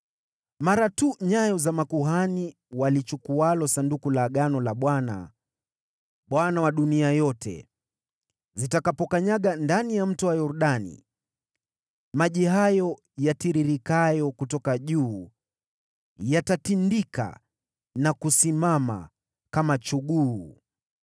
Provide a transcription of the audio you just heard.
Mara tu nyayo za makuhani walichukualo Sanduku la Bwana , Bwana wa dunia yote, zitakapokanyaga ndani ya Mto Yordani, maji hayo yatiririkayo kutoka juu yatatindika na kusimama kama chuguu.”